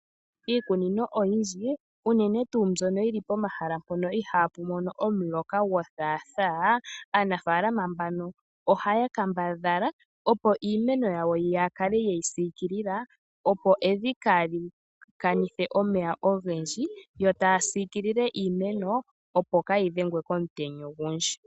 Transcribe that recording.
Iikunino oyi ndji unene tuu mbyono yili poma hala mpono ihaa pu mono omuloka go thaathaa, aanafaalama mbano oha ya kambadhala opo iimeno ya wo yakale yeyi siikila opo evi kaali kanithe omeya ogendji, yo taa siikilile iimeno opo kaa yi dhengwe komutenya ogu ndji.